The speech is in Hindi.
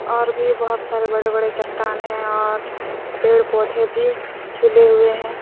और भी बहोत सारे बड़े-बड़े चट्टान हैं और पेड़-पौधे भी झूले हुए हैं ।